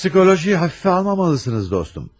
Psixologiyayı hafife almamalısınız dostum.